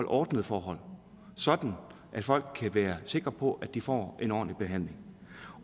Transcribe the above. ordnede forhold sådan at folk kan være sikre på at de får en ordentlig behandling